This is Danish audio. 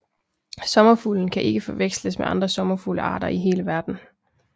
Sommerfuglen kan ikke forveksles med andre sommerfuglearter i hele verden